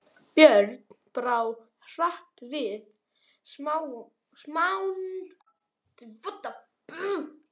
Björn brá hratt við smán þessari.